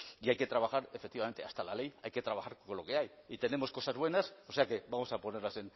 y hay que trabajar efectivamente hasta la ley hay que trabajar con lo que hay y tenemos cosas buenas o sea que vamos a ponerlas